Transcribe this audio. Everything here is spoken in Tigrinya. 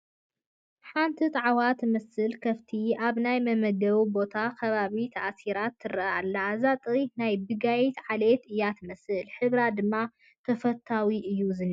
ሓንቲ ጣዕዋ ትመስል ከፍቲ ኣብ ናይ መመገቢ ቦታ ከባቢ ተኣሲራ ትርአ ኣላ፡፡ እዛ ጥሪት ናይ ቢጋይት ዓሌት እያ ትመስል፡፡ ሕብራ ድማ ተፈታዊ እዩ ዝኒሀ፡፡